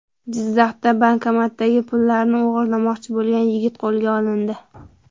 Jizzaxda bankomatdagi pullarni o‘g‘irlamoqchi bo‘lgan yigit qo‘lga olindi .